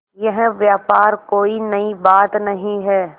यह व्यवहार कोई नई बात नहीं है